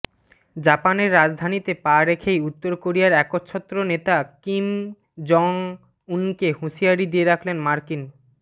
জাপানের রাজধানীতে পা রেখেই উত্তর কোরিয়ার একচ্ছত্র নেতা কিম জং উনকে হুঁশিয়ারি দিয়ে রাখলেন মার্কিন